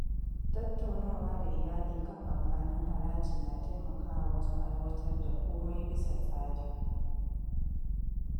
Tattaunawa da iyali kan amfanin haraji na taimakawa wajen aiwatar da komai bisa tsari.